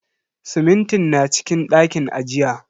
Simintin na cikin ɗakin ajiya.